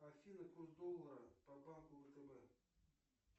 афина курс доллара по банку втб